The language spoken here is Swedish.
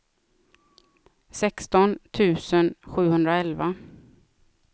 sexton tusen sjuhundraelva